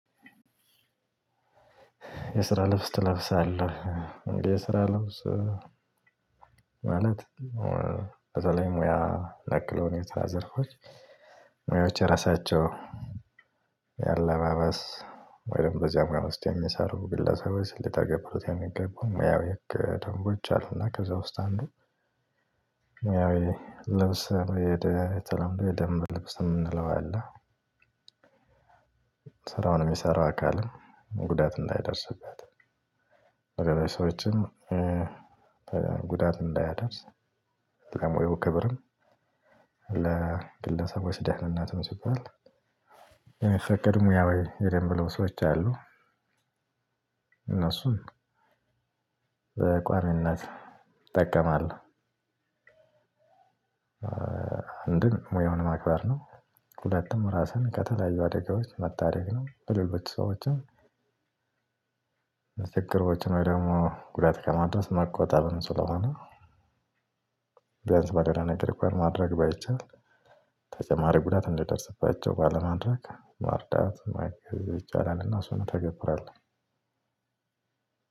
የስራ ልብስ ትለብሳለህ የስራ ልብስ ማለት ከዛ ላይ ሙያ ለክሎ ሁኔታ ዘርፎች ሙያዎች የራሳቸው ያለባበስ ወይም በዚያ ሙያ ወስጥ የሚሰሩ ግለሰቦች ሊተገብሩት የሚገባው ሙያው ህገ ደንቦች አሉና ከዛ ውስጥ አንዱ ሙያው ልብስ የደየተለምዶ የደምብ ልብስ የምንለው አለ። ስራውን የሚሰራ አካልም ጉዳት እንዳያደርስበት። በገና ሰዎችም ጉዳት እንዳያደርስ። ለሞያው ክብርም ለግለሰቦች ደህንነትም ሲባል የሚፈቀዱ ሙያዊ የደንብ ልብሶች አሉ። እነሱን በቋሚነት እጠቀማለሁ አንድም ሙያውን ማክበር ነው። ሁለቱም ራስን ከተለያዩ አደጋዎች መታደግ ነው። ለሌሎች ሰዎችም ችግሮችን ወይ ደግሞ ጉዳት ከማድረስ መቆጠብም ስለሆነ። ቢያንስ በሌላ ነገር ሪኳየር ማድረግ ባይቻል ተጨማሪ ጉዳት እንደዲደርስባቸው ባለማድረግ ማርዳት ማገዝ ይቻላልና እሱን እተገብራለሁ።